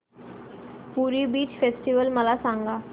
पुरी beach festival मला सांग